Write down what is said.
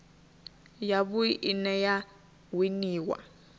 ya vhui ine ya winiwa